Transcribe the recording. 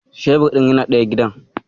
Shebir ɗin yana ɗaya gidan.